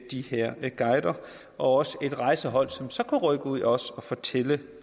de her guider og også et rejsehold som så kunne rykke ud og og fortælle